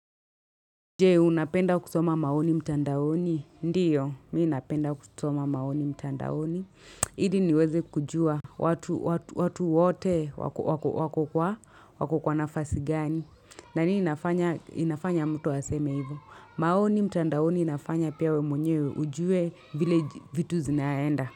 Je, unapenda kusoma maoni mtandaoni? Ndiyo, mi napenda kusoma maoni mtandaoni. Ili niweze kujua watu wote wako kwa wako kwa nafasi gani. Na nini inafanya mtu aseme hivyo, maoni mtandaoni inafanya pia we mwenyewe ujue vile vitu zinaenda.